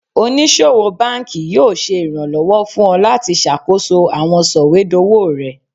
Onisowo banki yoo ṣe iranlọwọ fun ọ lati ṣakoso awọn sọwedowo rẹ